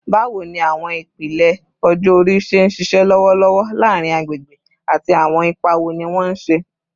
Bawo ni awọn ipele ọjọ-ori ṣe nṣiṣẹ lọwọlọwọ laarin agbegbe, ati awọn ipa wo ni wọn ṣe?